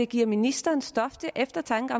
giver ministeren stof til eftertanke